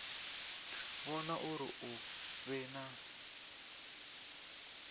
vhona uri hu vhe na